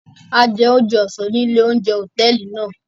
A jẹ oúnjẹ ọsán ní ilé oúnjẹ hotẹẹli náà